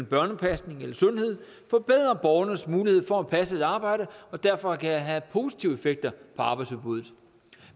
børnepasning eller sundhed forbedrer borgernes mulighed for at passe et arbejde og derfor kan have positive effekter på arbejdsudbuddet